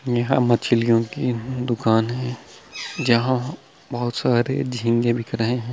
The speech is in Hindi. यहाँ मछलियों की दुकान है जहाँ बहुत सारे झींगे बिक रहे है।